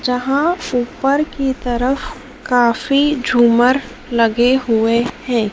जहां ऊपर की तरफ काफी झूमर लगे हुए हैं।